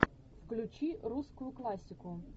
включи русскую классику